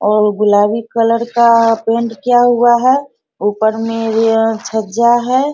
और गुलाबी कलर का आ पेंट किया हुआ है ऊपर में भी अ छज्जा है।